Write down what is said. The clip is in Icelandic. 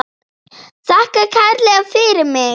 Þakka kærlega fyrir mig.